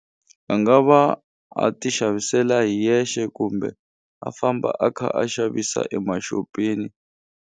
A nga va a ti xavisela hi yexe kumbe a famba a kha a xavisa emaxopeni.